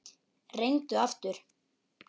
Reyndu aftur.